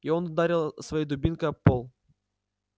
и он ударил своей дубинкой об пол